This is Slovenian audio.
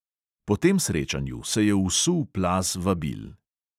Po tem srečanju se je usul plaz vabil.